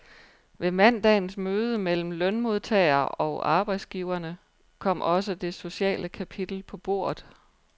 Ved mandagens møde mellem lønmodtagerne og arbejdsgiverne kom også det sociale kapitel på bordet.